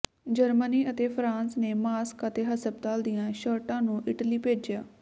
Germany ਅਤੇ France ਨੇ mask ਅਤੇ ਹਸਪਤਾਲ ਦੀਆਂ ਸ਼ਰਟਾਂ ਨੂੰ ਇਟਲੀ ਭੇਜਿਆ